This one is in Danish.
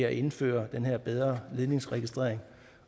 at indføre den her bedre ledningsregistrering